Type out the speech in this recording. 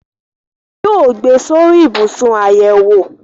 Wọn yóò gbé e sórí ibùsùn àyẹ̀wò